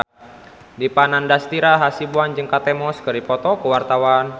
Dipa Nandastyra Hasibuan jeung Kate Moss keur dipoto ku wartawan